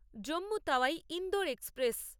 Jammu Tawi Indore express